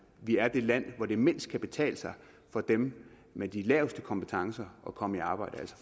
vi er det land hvor det mindst kan betale sig for dem med de laveste kompetencer at komme i arbejde